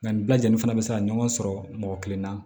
Nka nin bɛɛ lajɛlen fana be se ka ɲɔgɔn sɔrɔ mɔgɔ kelen na